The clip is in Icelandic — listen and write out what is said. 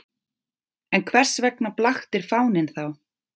En hvers vegna blaktir fáninn þá?